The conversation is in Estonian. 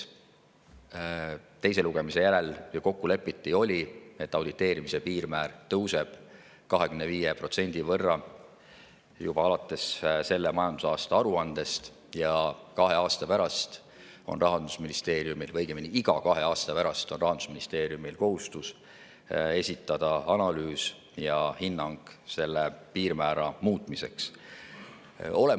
Teise lugemise järel ju lepiti kokku selles, et auditeerimise piirmäär tõuseb 25% võrra juba alates selle majandusaasta aruandest ja kahe aasta pärast on Rahandusministeeriumil, või õigemini, iga kahe aasta pärast on Rahandusministeeriumil kohustus esitada analüüs ja hinnang selle piirmäära muutmise kohta.